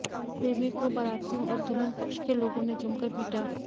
प्रेमी को बारातियों और दुल्हन पक्ष के लोगों ने जमकर पीटा